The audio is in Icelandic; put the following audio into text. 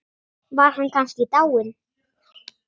Var hann kannski dáinn?